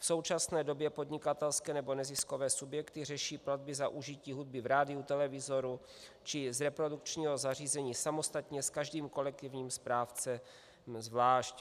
V současné době podnikatelské nebo neziskové subjekty řeší platby za užití hudby v rádiu, televizoru či z reprodukčního zařízení samostatně s každým kolektivním správcem zvlášť.